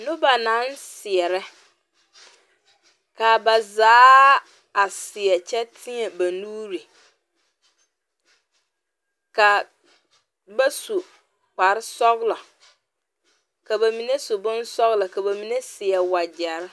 Noba naŋ seɛrɛ ka a ba zaa a seɛ kyɛ teɛ ba nuuri ka ba su kparesɔglɔ ka ba mine su bonsɔglɔ ka ba mine seɛ wagyɛre.